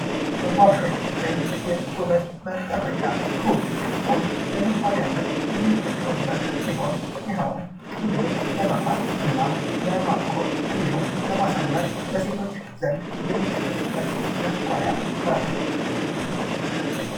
መዋቢያዎች ወይም የውበት መጠበቂያ ኮል ኩል ለመዋቢነት የምንጠቀምበት ሲሆን ይኸውም ቅንድብን ለመኳል እና በማጥቆር እና እንዲሁም በማሳመር ለሴቶች ዘንድ የሚጠቀሙበት መኳያ ነው ::